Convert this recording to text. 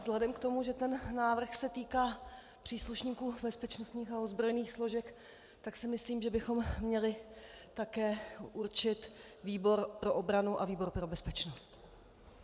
Vzhledem k tomu, že ten návrh se týká příslušníků bezpečnostních a ozbrojených složek, tak si myslím, že bychom měli také určit výbor pro obranu a výbor pro bezpečnost.